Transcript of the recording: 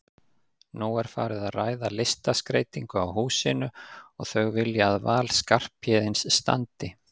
Nú er farið að ræða listskreytingu á húsinu og þau vilja að val Skarphéðins standi.